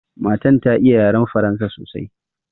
Matan ta iya yaran Faransa sosai.